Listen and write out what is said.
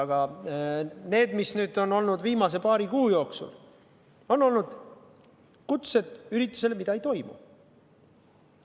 Aga need, mis on saadetud viimase paari kuu jooksul, on olnud kutsed üritustele, mida ei toimu.